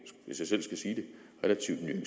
vil